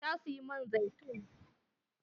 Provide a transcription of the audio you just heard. Ta siyi man zaitun.